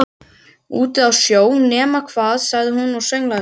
Úti á sjó, nema hvað sagði hún og sönglaði svo